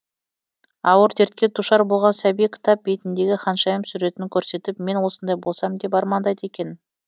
ауыр дертке душар болған сәби кітап бетіндегі ханшайым суретін көрсетіп мен осындай болсам деп армандайды екен